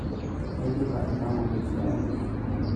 Aidipa aipang'u tesiai.